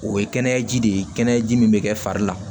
O ye kɛnɛyaji de ye kɛnɛyaji min bɛ kɛ fari la